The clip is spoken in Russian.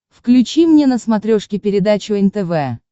включи мне на смотрешке передачу нтв